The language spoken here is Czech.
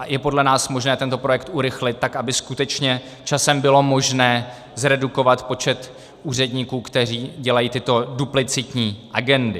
A je podle nás možné tento projekt urychlit tak, aby skutečně časem bylo možné zredukovat počet úředníků, kteří dělají tyto duplicitní agendy.